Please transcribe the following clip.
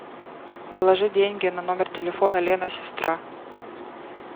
положи деньги на номер телефона лена сестра